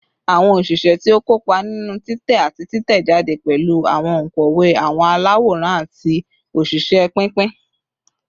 Awọn oṣiṣẹ ti o kopa ninu titẹ ati titẹjade pẹlu awọn onkọwe, awọn alaworan, ati oṣiṣẹ pinpin